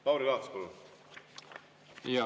Lauri Laats, palun!